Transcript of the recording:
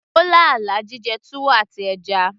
ó lá àlá jíjẹ túwó àti ẹja